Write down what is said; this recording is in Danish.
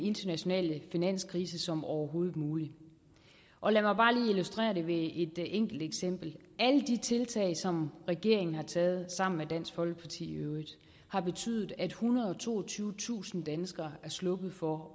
internationale finanskrise som overhovedet muligt og lad mig bare lige illustrere det ved et enkelt eksempel alle de tiltag som regeringen har taget sammen med dansk folkeparti i øvrigt har betydet at ethundrede og toogtyvetusind danskere er sluppet for